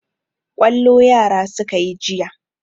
Kwallo yara suka yi jiya.